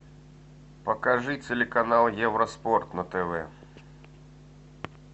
покажи телеканал евроспорт на тв